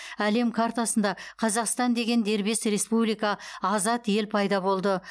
әлем қартасында қазақстан деген дербес республика азат ел пайда болды